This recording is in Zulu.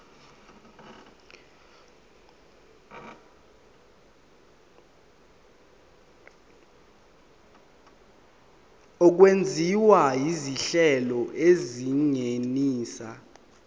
okwenziwa izinhlelo ezingenisa